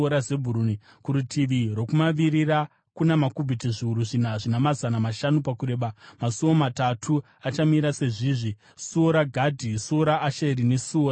Kurutivi rwokumavirira, kuna makubhiti zviuru zvina zvina mazana mashanu pakureba, masuo matatu achamira sezvizvi: suo raGadhi, suo raAsheri nesuo raNafutari.